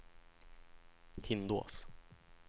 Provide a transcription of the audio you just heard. Hindås